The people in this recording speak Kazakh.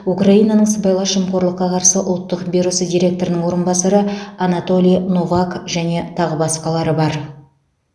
украинаның сыбайлас жемқорлыққа қарсы ұлттық бюросы директорының орынбасары анатолий новак және тағы басқалары бар